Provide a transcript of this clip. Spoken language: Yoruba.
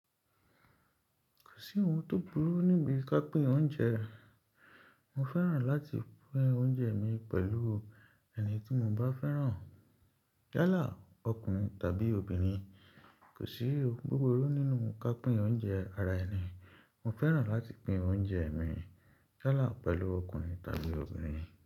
Kò sí ohun tó burú níbi ká pín oúnjẹ. Mo fẹ́ràn láti pín oúnjẹ mi pẹ̀lú ẹni tí mo bá fẹ́ràn. Yálà ọkùnrin tàbí obìnrin, kò sí ohun búburú nínú ká pín oúnjẹ ara ẹni. Mo fẹ́ràn láti pín oúnjẹ mi yálà pẹ̀lú ọkùnrin tàbí obìnrin.